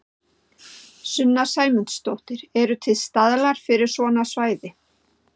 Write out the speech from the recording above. Sunna Sæmundsdóttir: Eru til staðlar fyrir svona svæði?